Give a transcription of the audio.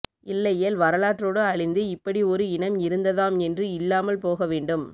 இல்லையேல் வரலாற்றோடு அழிந்து இப்படி ஒரு இனம் இருந்ததாம் என்று இல்லாமல் போகவேண்டும்